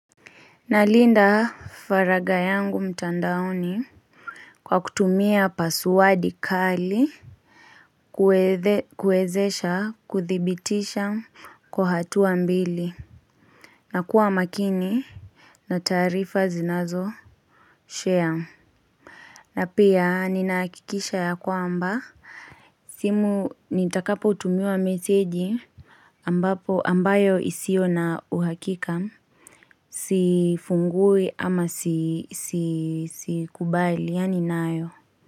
Nalinda faraga yangu mtandaoni Kwa kutumia pasuadi kali kuwezesha kuthibitisha kwa hatua mbili na kuwa makini na taarifa zinazo share na pia ninahakikisha yakwamba simu nitakapo tumiwa meseji ambayo isio na uhakika Sifungui ama sikubaliani nayo.